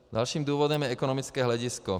Dalším důvodem je ekonomické hledisko.